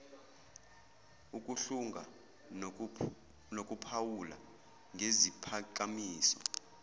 ukuhlunga nokuphawula ngeziphakamiso